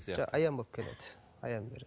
аян болып келеді аян береді